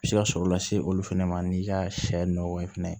Se ka sɔrɔ lase olu fana ma n'i ka sɛ nɔgɔ fɛnɛ